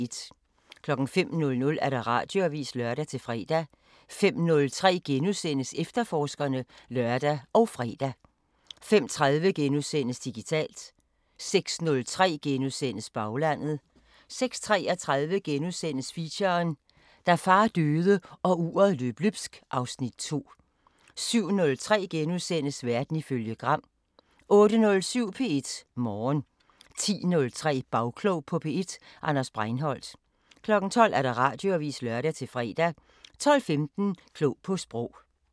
05:00: Radioavisen (lør-fre) 05:03: Efterforskerne *(lør og fre) 05:30: Digitalt * 06:03: Baglandet * 06:33: Feature: Da far døde, og uret løb løbsk (Afs. 2)* 07:03: Verden ifølge Gram * 08:07: P1 Morgen 10:03: Bagklog på P1: Anders Breinholt 12:00: Radioavisen (lør-fre) 12:15: Klog på Sprog